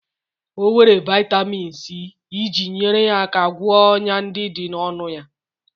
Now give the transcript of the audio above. O were vitamin C iji nyere aka gwọọ ọnyá ndị dị n'ọnụ ya.